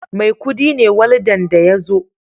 Maikudi ne waldan da ya zo